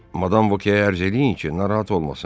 Madam Voke-yə ərz eləyin ki, narahat olmasın.